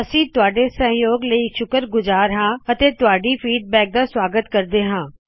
ਅਸੀ ਤੁਹਾੱਡੇ ਸਹਜੋਗ ਲਈ ਸ਼ੁਕਰਗੁਜਾਰ ਹਾ ਅਤੇ ਤੁਹਾਡੀ ਪ੍ਰਤਿਕ੍ਰਿਆ ਦਾ ਸਵਾਗਤ ਕਰਦੇ ਹਾ